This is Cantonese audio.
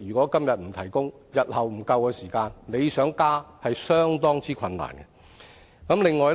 如果今天不提供電力設施，日後電力供應不足夠時才想加設，已是相當困難了。